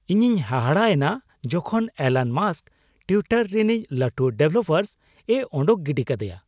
ᱤᱧᱤᱧ ᱦᱟᱦᱟᱲᱟ ᱮᱱᱟ ᱡᱚᱠᱷᱚᱱ ᱮᱞᱟᱱ ᱢᱟᱥᱠ ᱴᱩᱣᱤᱴᱟᱨ ᱨᱤᱱᱤᱡ ᱞᱟᱹᱴᱩ ᱰᱚᱵᱷᱮᱞᱯᱟᱨᱥᱼᱮ ᱳᱰᱳᱠ ᱜᱤᱰᱤ ᱠᱟᱫᱮᱭᱟ ᱾